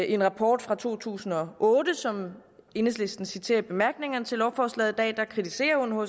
en rapport fra to tusind og otte som enhedslisten citerer i bemærkningerne til lovforslaget i dag kritiserer unhcr